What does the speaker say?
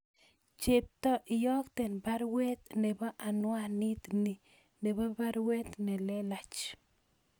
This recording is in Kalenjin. Chepto iyokten baruet nebo anwanit nii nebo baruet nelelach